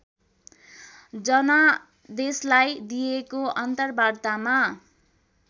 जनादेशलाई दिइएको अन्तर्वार्तामा